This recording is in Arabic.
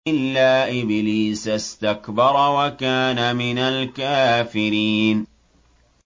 إِلَّا إِبْلِيسَ اسْتَكْبَرَ وَكَانَ مِنَ الْكَافِرِينَ